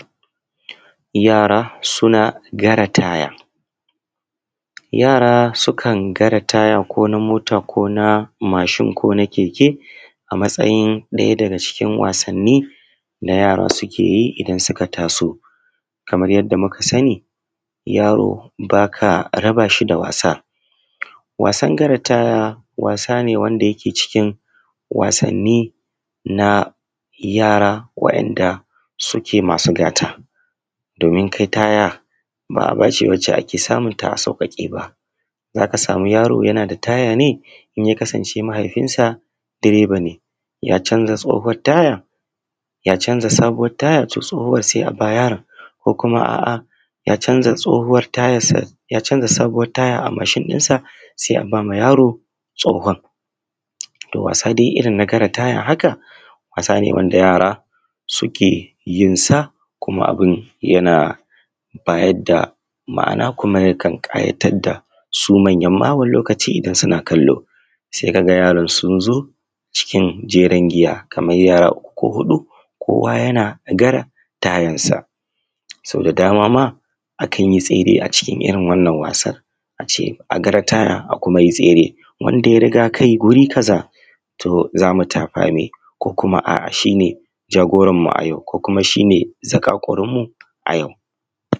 Yara suna gara taya. Yara sukan gara taya ko na mota ko na mashin ko keke a matsayin ɗaya daga cikin wasanni na yara suke yi idan suka taso kamar yadda muka sani yaro ba ka raba shi da wasa. Wasan gara taya wasa ne da yake cikin wasanni na yara waɗanda suke masu gata domin kai taya ba abu ba ne da ake samunta a sauƙaƙe ba, za ka samu yaro yana da taya ne in ya kasance mahaifin sa direba ne ya canza tsohon tayan, ya canza sabuwa. Tsohuwa a ba yara ko kuma a’a ya zanca tsohuwar taya ya canza sabuwar tayansa se a ba ma yaro tsohuwan da wasa dai irin na gara taya haka wasane wanda yara suke yinsa kuma abun yana bayar da ma’ana kuma ykan ƙayatar dasu manya wani lokaci ma in suna kallo se ka ga yaran sun zo cikin jerin giya Kaman yara huɗu kowa yana gara tayansa so da dama ma akan tsere a cikin irin wannan wasar a ce a gara taya a kuma tsere wanda y aria kai wuri kaza to za mu tafa me ko a’a shi ne jagoranmu a yau ko kuma shi ne zakarkurinmu a yau.